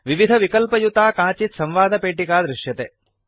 विविधविकल्पयुता काचित् संवादपेटिका दृश्यते